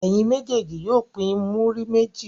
Ẹ̀yin méjèèjì yóò pín múrí méjì.